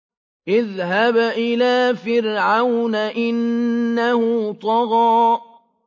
اذْهَبْ إِلَىٰ فِرْعَوْنَ إِنَّهُ طَغَىٰ